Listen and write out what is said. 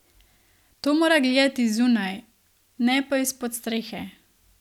To mora gledati zunaj, ne pa izpod strehe.